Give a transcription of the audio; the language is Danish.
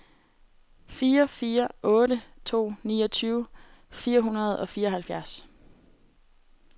fire fire otte to niogtyve fire hundrede og fireoghalvfjerds